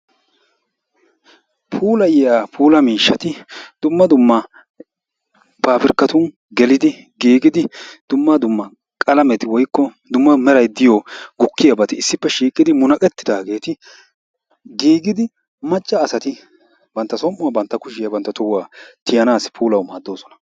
Puulayiya puula miishshati dumma dumma paapirkkatun gelidi giigidi dumma dumma qalameti woykko dumma meray diyo gukkiybati issippe shiiqidi munaqettidaageeti giigidi macca asati bantta som''uwa, bantta kushiya, bantta tohuwa tiyanaassi puulawu maaddoosona.